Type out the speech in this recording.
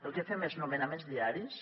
el que fem és nomenaments diaris